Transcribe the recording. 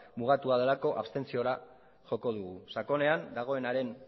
mugatua delako abstentziora joko dugu sakonean dagoenaren